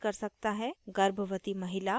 * गर्भवती महिला